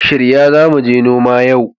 Shirya za mu je noma yau!